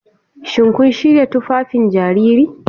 Shin kun shirya tufafin jariri?